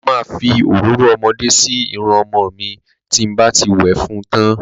Mo ma fi òróró ọmọdé sí irun ọmọ mi tí n bá ti wẹ̀ fún tán.